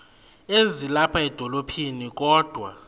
ezilapha edolophini kodwa